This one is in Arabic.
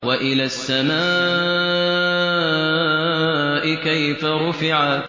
وَإِلَى السَّمَاءِ كَيْفَ رُفِعَتْ